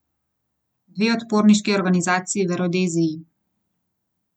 Dve odporniški organizaciji v Rodeziji.